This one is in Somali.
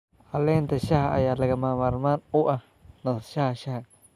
Caleenta shaaha ayaa lagama maarmaan u ah nasashada shaaha.